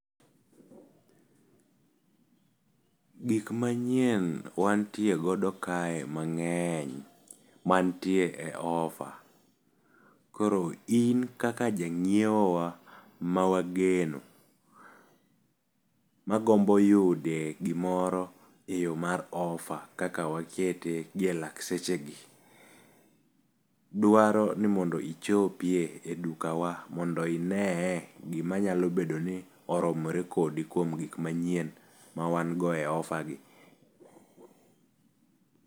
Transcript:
Gik manyien wantie godo kae mang'eny mantie e ofa, koro in kaka jang'iewo wa mawageno, magombo yude gimoro e yo mar ofa kaka wakete gi e lak sechegi. Dwaro ni mondo ichopie e dukawa mondo ineye gima nyalo bedo ni oromore kodi kuom gikmanyien mawango e ofa gi.